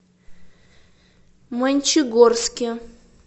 мончегорске